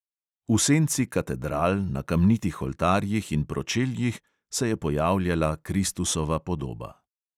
V senci katedral, na kamnitih oltarjih in pročeljih se je pojavljala kristusova podoba.